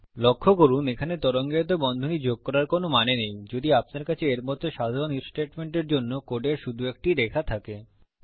লক্ষ্য করুন এখানে তরঙ্গায়িত বন্ধনী যোগ করার কোনো মানে নেই যদি আপনার কাছে এর মত সাধারণ ইফ স্টেটমেন্টের জন্য কোডের শুধু একটি রেখা থাকে